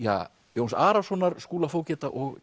Jóns Arasonar Skúla fógeta og